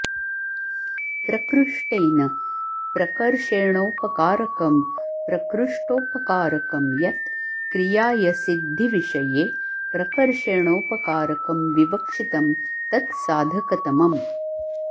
प्रकृष्टेन प्रकर्षेणोपकारकं प्रकृष्टोपकारकं यत् क्रियायसिद्धिविषये प्रकर्षेणोपकारकं विवक्षितं तत् साधकतमम्